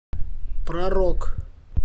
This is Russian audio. про рок